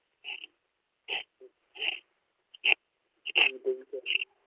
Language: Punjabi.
ਕਰ ਲੈ